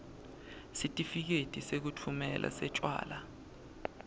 sitifiketi sekutfumela setjwala